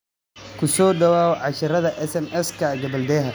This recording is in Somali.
"Ku soo dhawaada casharrada SMS-ka ee gabbaldayaha.